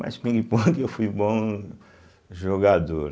Mas pingue-pongue eu fui bom jogador.